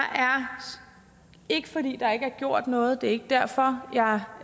ikke fordi der ikke er gjort noget det ikke derfor jeg